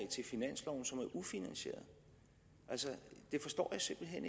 til finansloven som er ufinansierede altså det forstår jeg simpelt hen